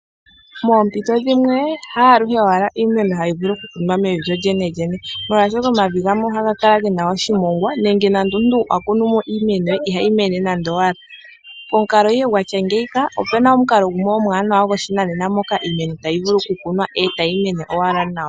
Moompito dhimwe ha aluhe owala iimeno hayi vulu okukunwa mevi lyolyene lyene oshoka omavi gamwe ohaga kala gena oshimongwa nande omuntu akunumo iimeno ye ihayi mene nande. Opena omukalo gumwe goshinanena moka iimeno tayi vulu okukunwa etayi mene owala nawa.